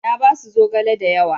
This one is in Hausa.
Na basu zogale da yawa.